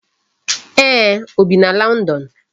Eeh, o bi na London